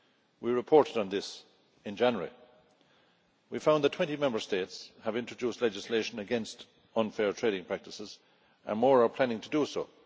We reported on this in January we found that 20 Member States had introduced legislation against unfair trading practices and more were planning to do so.